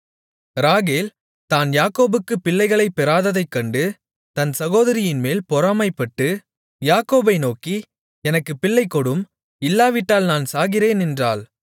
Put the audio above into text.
ராகேல் தான் யாக்கோபுக்குப் பிள்ளைகளைப் பெறாததைக்கண்டு தன் சகோதரியின்மேல் பொறாமைப்பட்டு யாக்கோபை நோக்கி எனக்குப் பிள்ளைகொடும் இல்லாவிட்டால் நான் சாகிறேன் என்றாள்